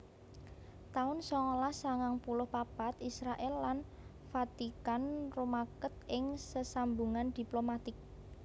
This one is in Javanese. taun songolas sangang puluh papat Israèl lan Vatikan rumaket ing sesambungan diplomatik